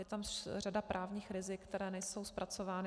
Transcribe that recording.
Je tam řada právních rizik, která nejsou zpracována.